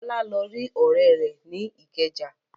Bọ́lá lọ rí ọ̀rẹ́ rẹ̀ ní Ìkẹjà.